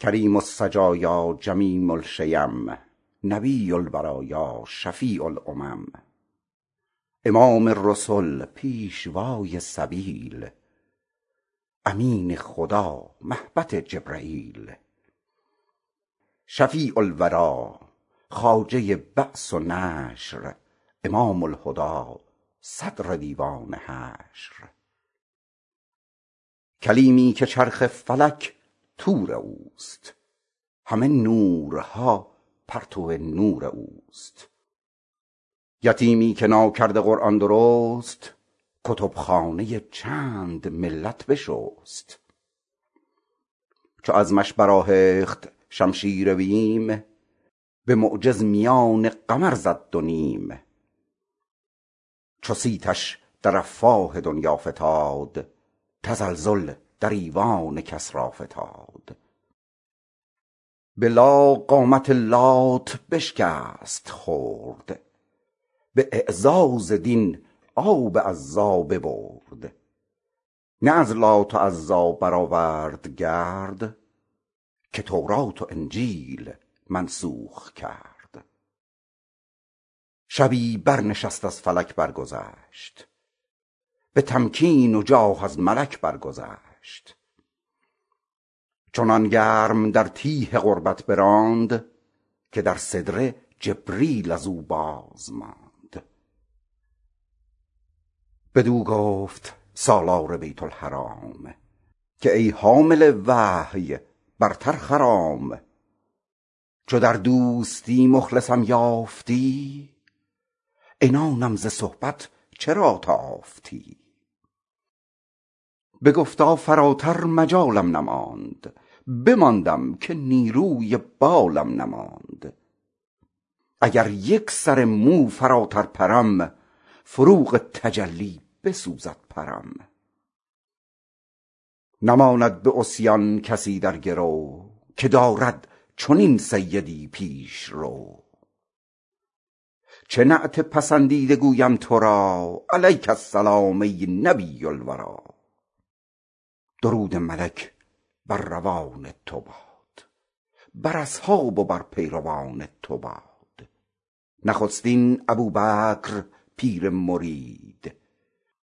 کریم السجایا جمیل الشیم نبی البرایا شفیع الامم امام رسل پیشوای سبیل امین خدا مهبط جبرییل شفیع الوری خواجه بعث و نشر امام الهدی صدر دیوان حشر کلیمی که چرخ فلک طور اوست همه نورها پرتو نور اوست شفیع مطاع نبی کریم قسیم جسیم نسیم وسیم یتیمی که ناکرده قرآن درست کتب خانه چند ملت بشست چو عزمش برآهخت شمشیر بیم به معجز میان قمر زد دو نیم چو صیتش در افواه دنیا فتاد تزلزل در ایوان کسری فتاد به لا قامت لات بشکست خرد به اعزاز دین آب عزی ببرد نه از لات و عزی برآورد گرد که تورات و انجیل منسوخ کرد شبی بر نشست از فلک برگذشت به تمکین و جاه از ملک درگذشت چنان گرم در تیه قربت براند که بر سدره جبریل از او بازماند بدو گفت سالار بیت الحرام که ای حامل وحی برتر خرام چو در دوستی مخلصم یافتی عنانم ز صحبت چرا تافتی بگفتا فراتر مجالم نماند بماندم که نیروی بالم نماند اگر یک سر موی برتر پرم فروغ تجلی بسوزد پرم نماند به عصیان کسی در گرو که دارد چنین سیدی پیشرو چه نعت پسندیده گویم تو را علیک السلام ای نبی الوری درود ملک بر روان تو باد بر اصحاب و بر پیروان تو باد نخستین ابوبکر پیر مرید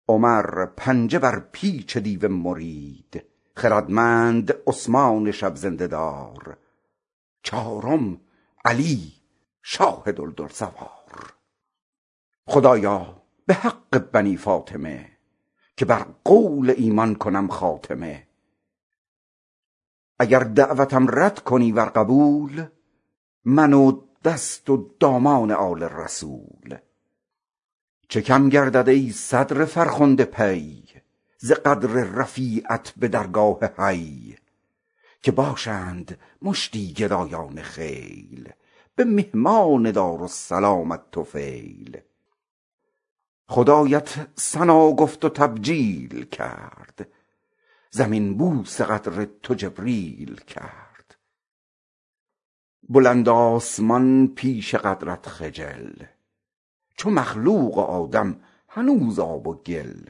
عمر پنجه بر پیچ دیو مرید خردمند عثمان شب زنده دار چهارم علی شاه دلدل سوار خدایا به حق بنی فاطمه که بر قولم ایمان کنم خاتمه اگر دعوتم رد کنی ور قبول من و دست و دامان آل رسول چه کم گردد ای صدر فرخنده پی ز قدر رفیعت به درگاه حی که باشند مشتی گدایان خیل به مهمان دارالسلامت طفیل خدایت ثنا گفت و تبجیل کرد زمین بوس قدر تو جبریل کرد بلند آسمان پیش قدرت خجل تو مخلوق و آدم هنوز آب و گل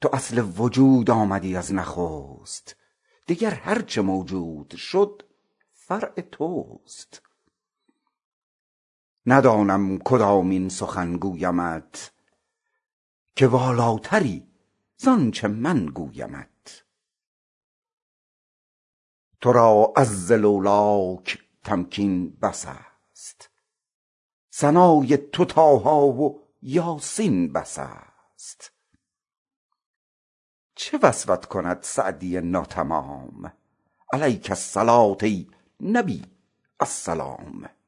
تو اصل وجود آمدی از نخست دگر هرچه موجود شد فرع توست ندانم کدامین سخن گویمت که والاتری زانچه من گویمت تو را عز لولاک تمکین بس است ثنای تو طه و یس بس است چه وصفت کند سعدی ناتمام علیک الصلوة ای نبی السلام